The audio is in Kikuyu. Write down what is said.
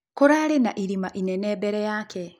Kũrarĩ na ĩrĩma ĩnene bere yake.